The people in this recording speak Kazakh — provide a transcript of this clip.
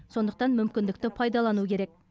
сондықтан мүмкіндікті пайдалану керек